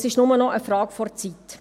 Es ist nur noch eine Frage der Zeit.